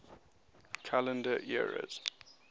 calendar eras